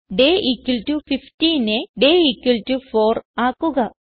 day 15നെ day 4 ആക്കുക